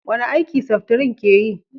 wani aiki seftrin ke yi?